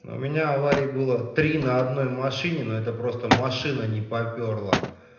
но у меня аварии было три на одной машине но это просто машина не попёрло